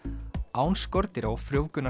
án skordýra og